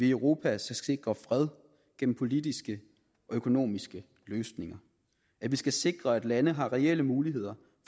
i europa skal sikre fred gennem politiske og økonomiske løsninger vi skal sikre at lande har reelle muligheder